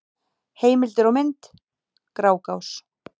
Heimildir og mynd: Grágás.